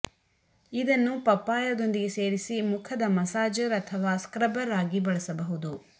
ಇದನ್ನು ಪಪ್ಪಾಯದೊಂದಿಗೆ ಸೇರಿಸಿ ಮುಖದ ಮಸಾಜರ್ ಅಥವಾ ಸ್ಕ್ರಬ್ಬರ್ ಆಗಿ ಬಳಸಬಹುದು